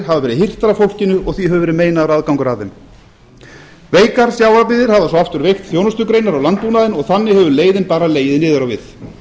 hafa verið hirtar af fólkinu og því hefur verið meinaður aðgangur að þeim veikar sjávarbyggðir hafa svo aftur veikt þjónustugreinar og landbúnaðinn og þannig hefur leiðin bara legið niður á við